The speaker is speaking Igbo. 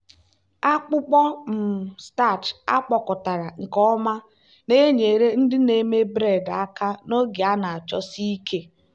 akpụkọ um starch akpụkọkọtara nke ọma na-enyere ndị na-eme bred aka n'oge a na-achọsi ike.